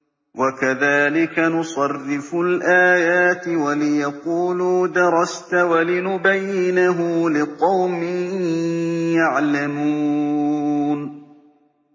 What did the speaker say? وَكَذَٰلِكَ نُصَرِّفُ الْآيَاتِ وَلِيَقُولُوا دَرَسْتَ وَلِنُبَيِّنَهُ لِقَوْمٍ يَعْلَمُونَ